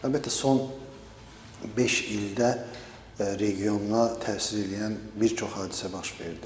Əlbəttə, son beş ildə regiona təsir eləyən bir çox hadisə baş verdi.